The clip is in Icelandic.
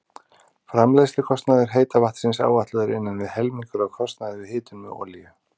Framleiðslukostnaður heita vatnsins áætlaður innan við helmingur af kostnaði við hitun með olíu.